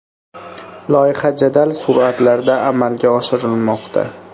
Loyiha jadal sur’atlarda amalga oshirilmoqda.